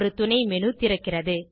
ஒரு துணைமேனு திறக்கிறது